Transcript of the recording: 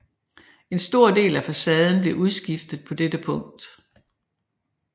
En stor del af facaden blev udskiftet på dette tidspunkt